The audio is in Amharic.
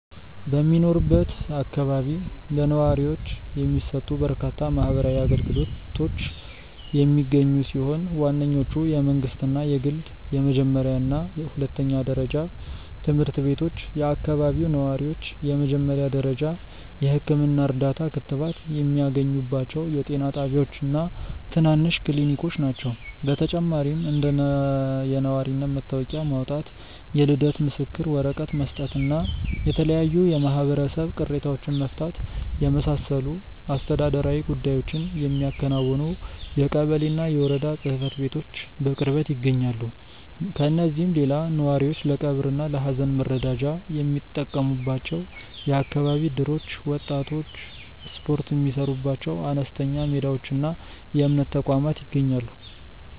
በሚኖርበት አካባቢ ለነዋሪዎች የሚሰጡ በርካታ ማህበራዊ አገልግሎቶች የሚገኙ ሲሆን፣ ዋነኞቹ የመንግሥትና የግል የመጀመሪያና ሁለተኛ ደረጃ ትምህርት ቤቶች፣ የአካባቢው ነዋሪዎች የመጀመሪያ ደረጃ የሕክምና እርዳታና ክትባት የሚያገኙባቸው የጤና ጣቢያዎችና ትናንሽ ክሊኒኮች ናቸው። በተጨማሪም እንደ የነዋሪነት መታወቂያ ማውጣት፣ የልደት ምስክር ወረቀት መስጠትና የተለያዩ የማህበረሰብ ቅሬታዎችን መፍታትን የመሳሰሉ አስተዳደራዊ ጉዳዮችን የሚያከናውኑ የቀበሌና የወረዳ ጽሕፈት ቤቶች በቅርበት ይገኛሉ። ከእነዚህም ሌላ ነዋሪዎች ለቀብርና ለሐዘን መረዳጃ የሚጠቀሙባቸው የአካባቢ እደሮች፣ ወጣቶች ስፖርት የሚሠሩባቸው አነስተኛ ሜዳዎችና የእምነት ተቋማት ይገኛሉ።